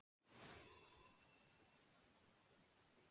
Hún átti við hann eitthvert erindi en gat ekki munað hvað það var.